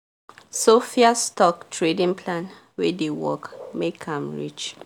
sophia's stock trading plan wey dey work make m rich